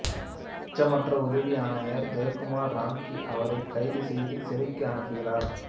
அச்சமற்ற உதவி ஆணையர் ஜெய்குமார் ராம்கி அவரைக் கைது செய்து சிறைக்கு அனுப்புகிறார்